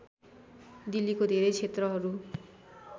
दिल्लीको धेरै क्षेत्रहरू